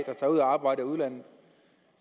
der tager ud og arbejder i udlandet